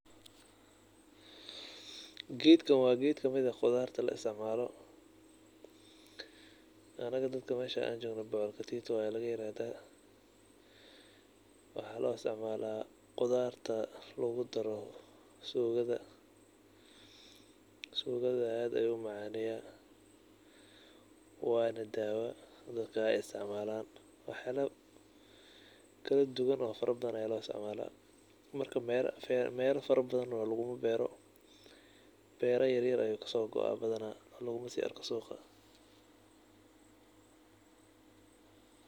Gedkan wa kamid gedaha laisticmalo meesha anaga jogno waxa lagadaha bocor katito. Waxa loisticmla qudarta lugudaro sugada sugadana aad ayu umacaneya wana daawo ey dadka isiticmalan wax badan kaladuwan lo isticmala markamelo kala duwa oo bero yaryar ayu kasogoaa oo lugumaarko suqa.